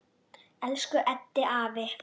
Elsku Eddi afi.